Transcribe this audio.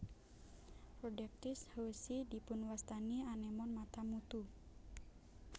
Rhodactis howesi dipunwastani anémon Mata mutu